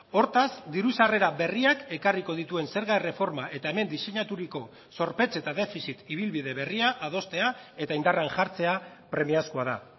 hortaz diru sarrera berriak ekarriko dituen zerga erreforma eta hemen diseinaturiko zorpetze eta defizit ibilbide berria adostea eta indarrean jartzea premiazkoa da